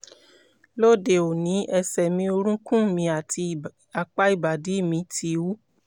lóde òní ẹsẹ̀ mi orúnkún mi àti apá ìbàdí mi ti wú